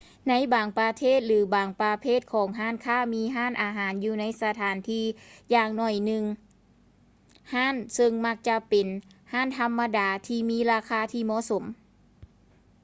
ໃນບາງປະເທດ ຫຼື ບາງປະເພດຂອງຮ້ານຄ້າມີຮ້ານອາຫານຢູ່ໃນສະຖານທີ່ຢ່າງໜ້ອຍໜຶ່ງຮ້ານ ເຊິ່ງມັກຈະເປັນຮ້ານທຳມະດາທີ່ມີລາຄາທີ່ເໝາະສົມ